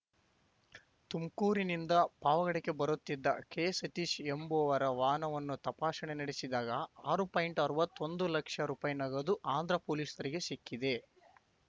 ತುಮ್ಕೂರಿನಿಂದ ಪಾವಗಡಕ್ಕೆ ಬರುತ್ತಿದ್ದ ಕೆಸತೀಶ್ ಎಂಬುವರ ವಾಹನವನ್ನು ತಪಾಸಣೆ ನಡೆಸಿದಾಗ ಆರು ಪಾಯಿಂಟ್ಅರ್ವತ್ತೊಂದು ಲಕ್ಷ ರೂಪಾಯಿ ನಗದು ಆಂಧ್ರ ಪೊಲೀಸರಿಗೆ ಸಿಕ್ಕಿದೆ